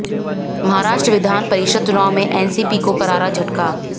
महाराष्ट्र विधान परिषद चुनाव में एनसीपी को करारा झटका